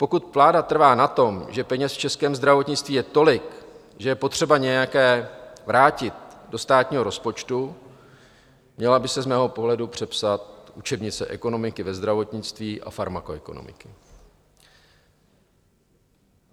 Pokud vláda trvá na tom, že peněz v českém zdravotnictví je tolik, že je potřeba nějaké vrátit do státního rozpočtu, měla by se z mého pohledu přepsat učebnice ekonomiky ve zdravotnictví a farmakoekonomiky.